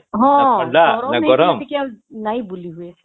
ହଁ ହଁ ଗରମ ହେଇଥିଲେ ଆଉ ନାଇଁ ବୁଲି ହୁଏ